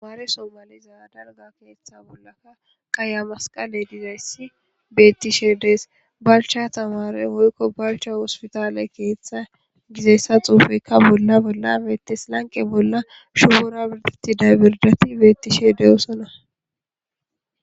Hamaare somaliza darga keeththa bollaka qaya masqale dizayssi beettishe dees balcha tawaare hoykko balcha wospitaale keeththa gizessa xuufeykka bolla bolla beettes lanqe bolla shugora birditti daybirdati beettishe deyoosona.